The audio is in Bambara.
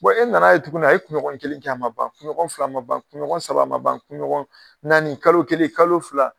e na na ye tukuni a ye kunɲɔgɔn kelen kɛ ma ban kunɲɔgɔn fila kɛ a ma ban kunɲɔgɔn saba kɛ ma ban kunɲɔgɔn naani , kalo kelen kalo fila.